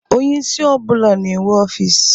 Onyeisi ọ bụla na-enwe ofiisi.